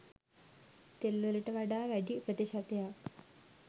තෙල් වලට වඩා වැඩි ප්‍රතිශතයක්